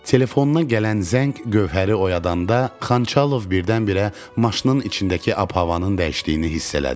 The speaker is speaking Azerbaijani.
Telefondan gələn zəng Gövhəri oyadanda Xanxalov birdən-birə maşının içindəki ab-havanın dəyişdiyini hiss elədi.